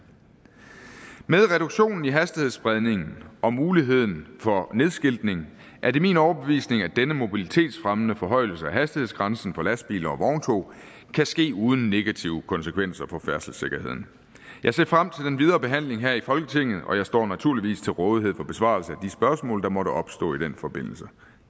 med reduktionen i hastighedsspredningen og muligheden for nedskiltning er det min overbevisning at denne mobilitetsfremmende forhøjelse af hastighedsgrænsen for lastbiler og vogntog kan ske uden negative konsekvenser for færdselssikkerheden jeg ser frem til den videre behandling her i folketinget og jeg står naturligvis til rådighed for besvarelse af de spørgsmål der måtte opstå i den forbindelse